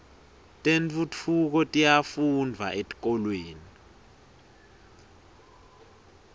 tentfutfuko tiyafundvwa etikolweni